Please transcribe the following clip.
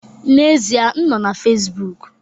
N'ezie m nọ na Facebook